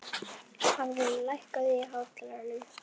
Hafrún, lækkaðu í hátalaranum.